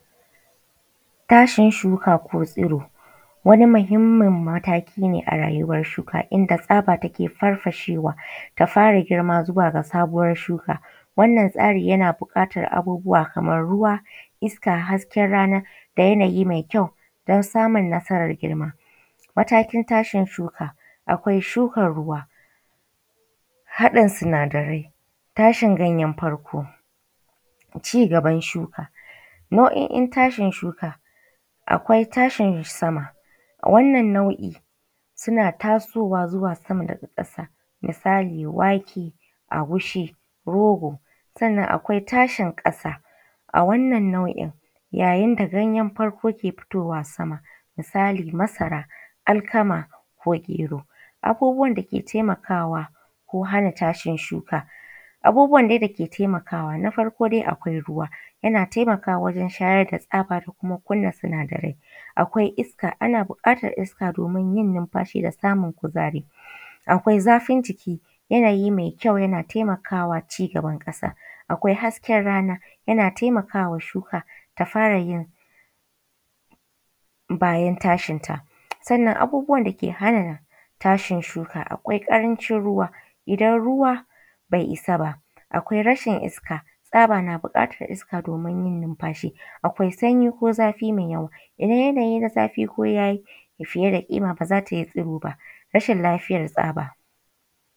Tashin shuka ko tsiro wani muhimmin mataki ne a rayuwar shuka inda tsabar take farfashewa ta fara girma zuwa ga sabuwar shuka. Wannan tsari yana buƙatar abubuwa kamar ruwa, iska, hasken rana da yanayi mai kyau don samun nasarar girma. Matakin tashin shuka: Akwai shukan ruwa, haɗin sinadarai, tashin ganyen farko, cigaban shuka. Nau'o'in tashin shuka: Akwai tashin sama, a wannan mai suna tasowa zuwa sama daga ƙasa, misali wake, agushi rogo. Sannan akwai tashin ƙasa, a wannan nau'in yayin da ganyen farko ke fitowa sama misali; masara, Alkama ko gero. Abubuwan dake taimakawa ko hana tashin shuka; abubuwan dai dake taimakawa na farko akwai ruwa, yana taimakawa wajen shayar da tsabar kuma kunna sinadarai, akwai iska, ana buƙatar iska domin yin numfashi da samun kuzari. Akwai zafin jiki; yanayi mai kyau yana taimakawa cigaban ƙasa. Akwai hasken rana, yana taimakawa shuka ta fara yin bayan tashin ta. Sannan abubuwan dake hana tashin shuka Akwai ƙarancin ruwa, idan ruwa bai isa ba, akwai rashin iska, tsaba na buƙatar iska domin yin numfashi. Akwai sanyi ko zafi mai yawa, idan yanayi na zafi ko yayi fiye da ƙima ba za ta yi tsiro ba. Rashin lafiyar tsaba.